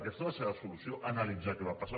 aquesta és la seva solució analitzar què va passar